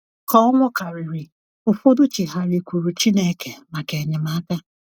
ka ọnwụ kariri, ụfọdụ chigharịkwuuru Chineke maka enyemaka.